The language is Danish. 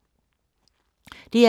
DR2